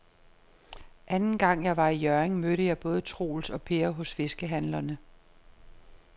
Anden gang jeg var i Hjørring, mødte jeg både Troels og Per hos fiskehandlerne.